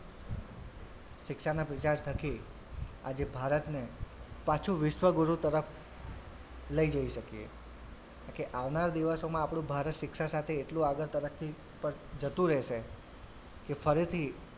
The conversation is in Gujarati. શિક્ષાના પ્રચાર થકી આજે ભારતને પાછુ વિશ્વગુરુ તરફ લઇ જઈ શકીએ કેમ કે આવનારા દિવસોમાં આપડું ભારત શિક્ષા સાથે એટલું આગળ તરક્કી પર જતું રહેશે કે ફરીથી,